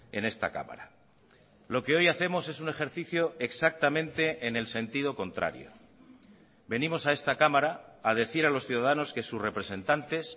en esta cámara lo que hoy hacemos es un ejercicio exactamente en el sentido contrario venimos a esta cámara a decir a los ciudadanos que sus representantes